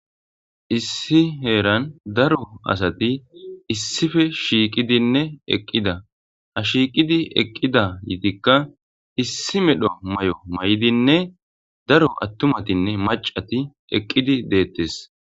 Issi heeran daro asati issife shiiqidinne eqqida ha shiiqidi eqqida yitikka issi medho may'o may'idinne daro attumatinne macati eqqidi deettes.